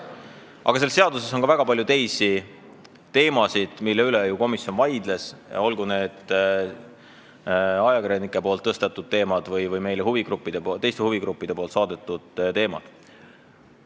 Aga selles seaduses on ka väga palju teisi teemasid, mille üle komisjon vaidles, olgu need ajakirjanike tõstatatud teemad või teiste huvigruppide poolt meile saadetud teemad.